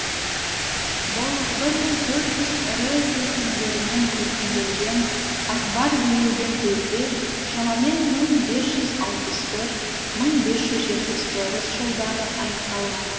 бұл бір мың төрт жүз ірі кескіндермен көркемделген акбар билеген кезде шамамен мың бес жүз алпыс төрт мың бес жүз жетпіс тоғыз жылдары аяқталған